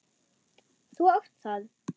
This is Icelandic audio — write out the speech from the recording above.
Þú átt það.